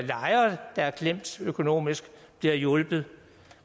er klemt økonomisk bliver hjulpet